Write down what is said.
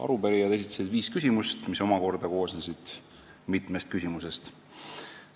Arupärijad esitasid seitse küsimust, mis omakorda koosnesid mitmest küsimusest.